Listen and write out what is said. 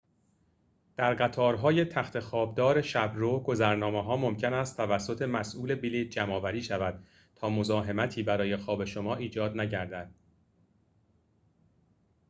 در قطارهای تخت‌خواب دار شب رو گذرنامه‌ها ممکن است توسط مسئول بلیط جمع آوری شود تا مزاحمتی برای خواب شما ایجاد نگردد